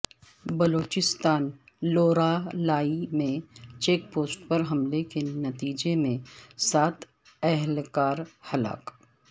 بلوچستان لورالائی میں check post پرحملے کے نتیجےمیں سات اہلکارہلاک